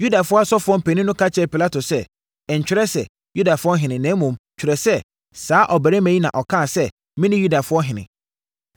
Yudafoɔ asɔfoɔ mpanin no ka kyerɛɛ Pilato sɛ, “Ntwerɛ sɛ, ‘Yudafoɔ ɔhene’ na mmom twerɛ sɛ, ‘Saa ɔbarima yi na ɔkaa sɛ, mene Yudafoɔ ɔhene!’ ”